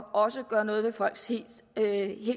også at gøre noget ved folks helt